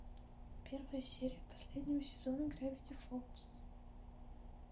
первая серия последнего сезона гравити фолз